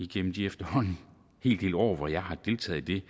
den efterhånden hel del år hvor jeg har deltaget i